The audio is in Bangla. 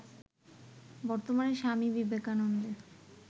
বর্তমানে স্বামী বিবেকানন্দের